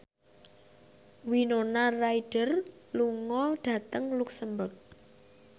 Winona Ryder lunga dhateng luxemburg